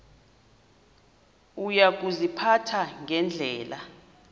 uya kuziphatha ngendlela